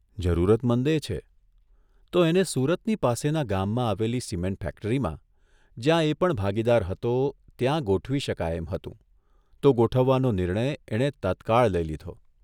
જરૂરતમંદેય છે તો એને સુરતની પાસેના ગામમાં આવેલી સિમેન્ટ ફેક્ટરીમાં જ્યાં એ પણ ભાગીદાર હતો ત્યાં ગોઠવી શકાય એમ હતું તો ગોઠવવાનો નિર્ણય એણે તત્કાળ લઇ લીધો.